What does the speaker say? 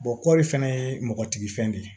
kɔɔri fana ye mɔgɔtigi fɛn de ye